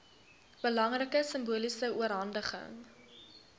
belangrike simboliese oorhandiging